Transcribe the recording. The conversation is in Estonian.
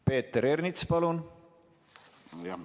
Peeter Ernits, palun!